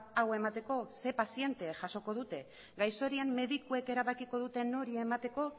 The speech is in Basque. hau emateko zein paziente jasoko dute gaixo horien medikuek erabakiko dute nori emateko